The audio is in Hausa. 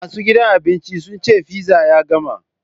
Masu gidan abincin sun ce fizza ya gama.